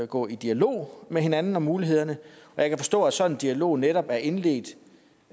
gå i dialog med hinanden om mulighederne jeg kan forstå at sådan en dialog netop er indledt